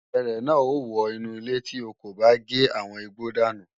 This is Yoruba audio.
Erè náà ó wọ inú ilé tí o kò bá gé àwọn igbó dànù